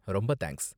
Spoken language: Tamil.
ரொம்ப தேங்க்ஸ்.